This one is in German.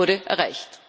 Das wurde erreicht.